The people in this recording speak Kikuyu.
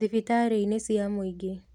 Thibitarĩ-inĩ cia mũingĩ